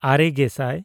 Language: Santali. ᱟᱨᱮᱼᱜᱮᱥᱟᱭ